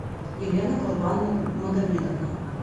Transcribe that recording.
елена курбан магомедовна